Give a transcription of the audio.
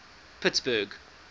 pittsburgh